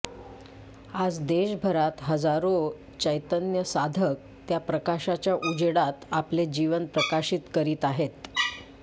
आज देशभरात हजारो चेतन्य साधक त्या प्रकाशाच्या उजेडात आपले जीवन प्रकाशित करीत आहे